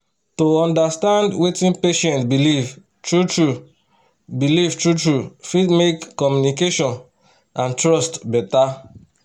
to understand wetin patient believe true-true believe true-true fit make communication and trust better.